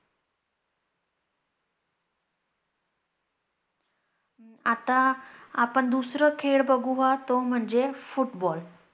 आता आपण दुसरा खेळ बघूया तो म्हणजे football